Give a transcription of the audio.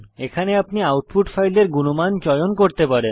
এখানে আপনি আউটপুট ফাইলের গুণমান চয়ন করতে পারেন